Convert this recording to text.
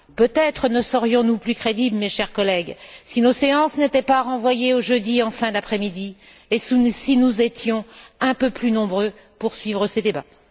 Peut être serions nous plus crédibles, mes chers collègues, si nos séances n'étaient pas renvoyées au jeudi, en fin d'après midi, et si nous étions un peu plus nombreux pour suivre ces débats?